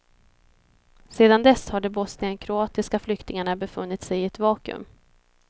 Sedan dess har de bosnienkroatiska flyktingarna befunnit sig i ett vakuum.